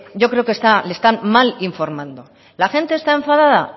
yo creo que le están mal informando la gente está enfadada